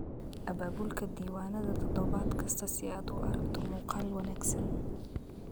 Abaabulka diiwaanada toddobaad kasta si aad u aragto muuqaal wanaagsan.